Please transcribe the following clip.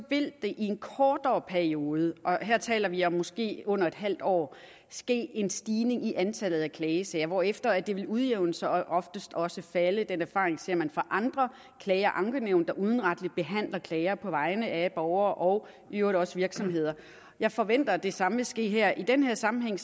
vil der i en kortere periode og her taler vi om måske under et halvt år ske en stigning i antallet af klagesager hvorefter det vil udjævne sig og oftest også falde den erfaring ser man fra andre klage og ankenævn der udenretligt behandler klager på vegne af borgere og i øvrigt også virksomheder jeg forventer det samme vil ske her i den her sammenhæng